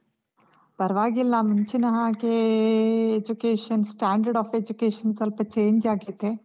ಪರ್ವಾಗಿಲ್ಲ, ಮುಂಚಿನ ಹಾಗೇ education standard of education ಸ್ವಲ್ಪ change ಆಗಿದೆ.